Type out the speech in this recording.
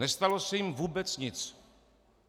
Nestalo se jim vůbec nic.